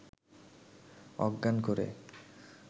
অজ্ঞান করে